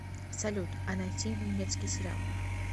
салют а найти немецкий сериал